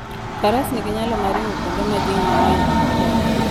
Faras nigi nyalo mar ringo kuonde ma ji mang'eny ok odakie.